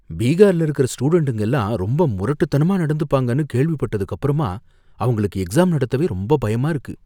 பீகார்ல இருக்கிற ஸ்டூடண்ட்டுங்க எல்லாம் ரொம்ப முரட்டுத்தனமா நடந்துப்பாங்கனு கேள்விப்பட்டதுக்கப்புறமா அவங்களுக்கு எக்ஸாம் நடத்தவே ரொம்ப பயமா இருக்கு.